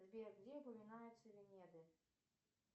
сбер где упоминаются венеды